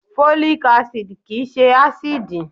Folic Acid kìí ṣe ásíìdì.